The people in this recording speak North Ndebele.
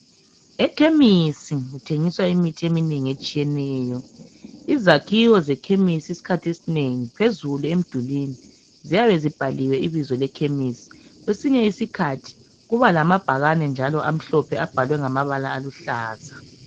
Ekhemisi kuthengiswa imithi eminengi etshiyeneyo. Izakhiwo zekhemisi isikhathi esinengi phezulu emdulwini ziyabe zibhaliwe ibizo lekhesimi. Kwesinye isikhathi kuba lamabhakane njalo amahlophe abhalwe ngamabala aluhlaza.